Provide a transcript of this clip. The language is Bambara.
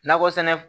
Nakɔ sɛnɛ